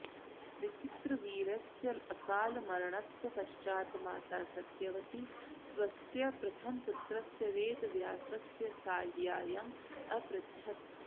विचित्रवीर्यस्य अकालमरणस्य पश्चात् माता सत्यवती स्वस्य प्रथमपुत्रस्य वेदव्यासस्य साहाय्यम् अपृच्छत्